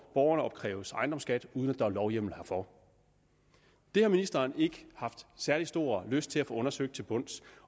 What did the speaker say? borgerne opkræves ejendomsskat uden at der er lovhjemmel herfor det har ministeren ikke har særlig stor lyst til at få undersøgt til bunds